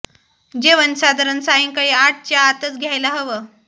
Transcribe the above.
जेवण साधारण सायंकाळी आठ च्या आतच घ्यायला हवं